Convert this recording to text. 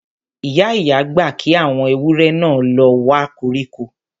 Ìyá-ìyá gbà kí àwọn ewúrẹ náà lọ wa koríko